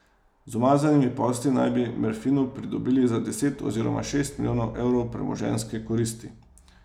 Z umazanimi posli naj bi Merfinu pridobili za deset oziroma šest milijonov evrov premoženjske koristi.